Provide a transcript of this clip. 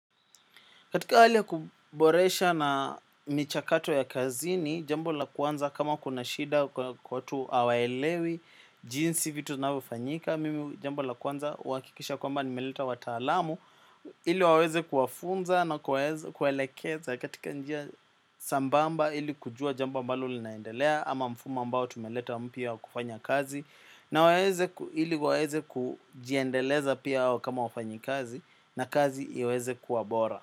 Katika hali ya kuboresha na michakato ya kazini, jambo la kwanza kama kuna shida watu hawaelewi jinsi vitu zinavyofanyika, mimi jambo la kwanza huhakikisha kwamba nimeleta wataalamu, ili waweze kuwafunza na kuwaelekeza katika njia sambamba ili kujua jambo ambalo linaendelea ama mfumo ambao tumeleta mpya wa kufanya kazi, na ili waweze kujiendeleza pia hao kama wafanyikazi na kazi iweze kuwa bora.